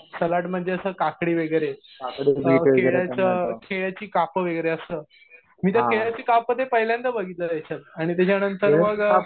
Salad म्हणजे असं काकडी वगैरे केळीची काप वगैरे असं. मी तर केळीची काप ते पहिल्यांदा बघितलं रे याच्यात. आणि त्याच्या नंतर मग